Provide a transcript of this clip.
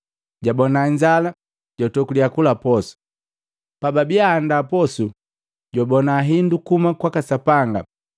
Jabona inzala, jwatokulya kula posu. Pababia ahanda posu, jwabona hindu kuhuma kwaka Sapanga.